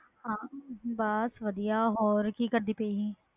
ਬਸ ਵਧੀਆ ਹੋਰ ਸੁਣਾ ਕਿ ਕਰਦੀ ਪਈ ਸੀ